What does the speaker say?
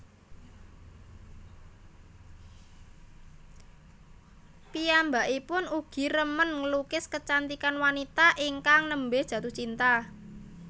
Piyambakipun ugi remen nglukis kecantikan wanita ingkang nembe jatuh cinta